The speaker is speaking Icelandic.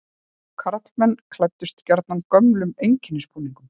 Karlmenn klæddust gjarnan gömlum einkennisbúningum.